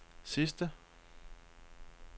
sidste